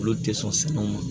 Olu tɛ sɔn sɛnɛw ma